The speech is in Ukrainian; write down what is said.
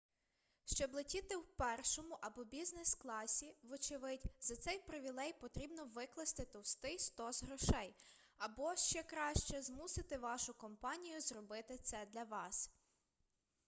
щоб летіти у першому або бізнес-класі вочевидь за цей привілей потрібно викласти товстий стос грошей або ще краще змусити вашу компанію зробити це для вас